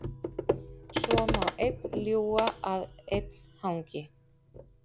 Svo má einn ljúga að einn hangi.